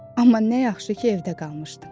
Amma nə yaxşı ki, evdə qalmışdım.